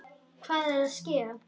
Hvað er að ske?